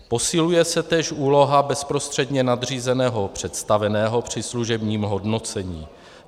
Posiluje se též úloha bezprostředně nadřízeného představeného při služebním hodnocení.